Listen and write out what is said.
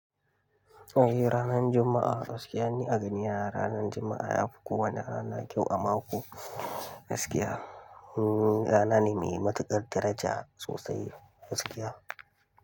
Eh ranar Juma'a gaskiya ne a gani ranar Juma'a ya fi kowane rana kyau a mako gaskiya. Ranar ne mai matuƙar daraja sosai gaskiya.